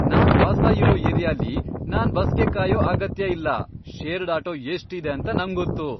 ನಾನ್ ವಾಸ ಇರೋ ಏರಿಯಾಲಿ ನಾನ್ ಬಸ್ಗೆ ಕಾಯೋ ಅಗತ್ಯ ಅಲ್ಲ. ಶೇರ್ಡ್ ಆಟೋ ಎಷ್ಟ್ ಇದೆ ಅಂತ ನಂಗ್ ಗೊತ್ತು.